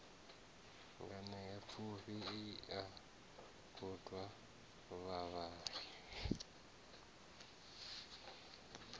nganeapfufhi i a kunga vhavhali